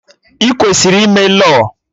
Ị kwesịrị ime Lọọ!